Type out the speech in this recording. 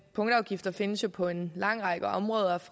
punktafgifter findes jo på en lang række områder